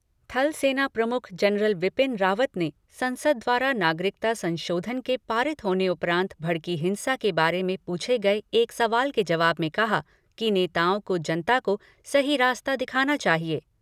थल सेना प्रमुख जनरल बिपिन रावत ने संसद द्वारा नागरिकता संशोधन के पारित होने के उपरान्त भड़की हिंसा के बारे पूछे गये एक सवाल के जवाब में कहा कि नेताओं को जनता को सही रास्ता दिखाना चाहिए।